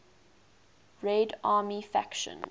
red army faction